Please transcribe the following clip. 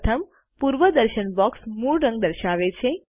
પ્રથમ પૂર્વદર્શન બોક્સ મૂળ રંગ દર્શાવે છે